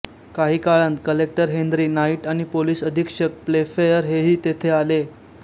काही वेळांत collector Henry Knight आणि पोलिस अधीक्षक प्लेफेअर हेही तेथे आले